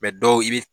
dɔw i bi